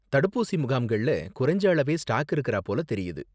தடுப்பூசி முகாம்கள்ல குறைஞ்ச அளவே ஸ்டாக் இருக்கிறா போல தெரியுது.